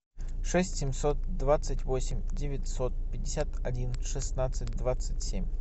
шесть семьсот двадцать восемь девятьсот пятьдесят один шестнадцать двадцать семь